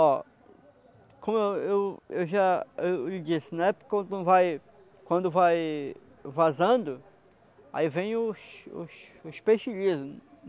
Ó, como eu eu eu já eu disse, na época quando vai quando vai... vazando, aí vem os os os peixe livre.